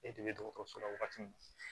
E de bɛ dɔgɔtɔrɔso la wagati min